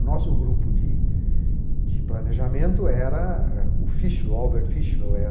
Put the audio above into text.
O nosso grupo de de planejamento era o Fischler, o Albert Fischler, é